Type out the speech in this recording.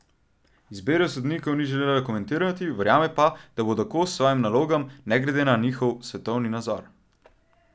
Izbire sodnikov ni želela komentirati, verjame pa, da bodo kos svojim nalogam, ne glede na njihov svetovni nazor.